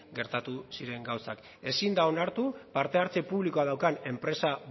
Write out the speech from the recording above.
gertatu ziren gauzak ezin da onartu parte hartze publikoa daukan enpresa